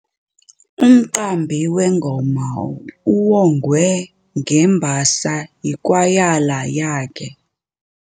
Umqambi wengoma uwongwe ngembasa yikwayala yakhe.